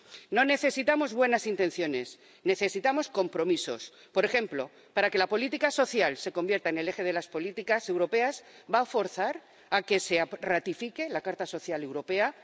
No necesitamos buenas intenciones. Necesitamos compromisos. Por ejemplo, para que la política social se convierta en el eje de las políticas europeas, ¿va a forzar la ratificación de la Carta Social Europea?